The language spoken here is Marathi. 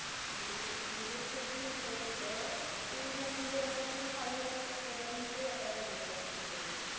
तुम्ही जसं म्हणलं ते योग्य आहे ma'am आपण उद्या बोलू bye thank you.